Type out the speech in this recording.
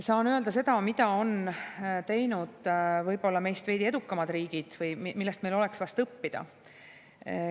Saan öelda seda, mida on teinud võib-olla meist veidi edukamad riigid ja millest meil oleks õppida.